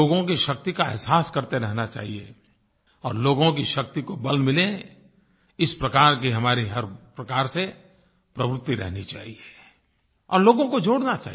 लोगों की शक्ति का एहसास करते रहना चाहिए और लोगों की शक्ति को बल मिले इस प्रकार की हमारी हर प्रकार से प्रवृत्ति रहनी चाहिए और लोगों को जोड़ना चाहिए